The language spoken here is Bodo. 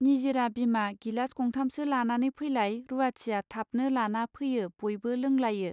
निजिरा बिमा गिलास गंथामसो लानानै फैलाय रूवाथिया थाबनो लाना फैयो बयबो लोंलायो.